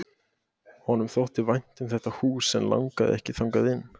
Honum þótti vænt um þetta hús en langaði ekki þangað inn.